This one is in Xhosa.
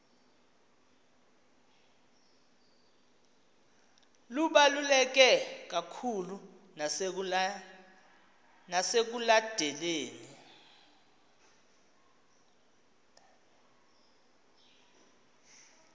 lubaluleke kakhulu nasekudaleni